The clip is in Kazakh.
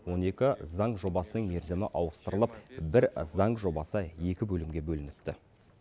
он екі заң жобасының мерзімі ауыстырылып бір заң жобасы екі бөлімге бөлініпті